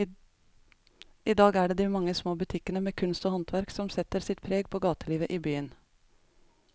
I dag er det de mange små butikkene med kunst og håndverk som setter sitt preg på gatelivet i byen.